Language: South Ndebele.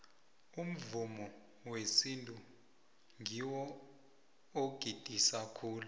umvumo wesintu ngiwo ogidisa khulu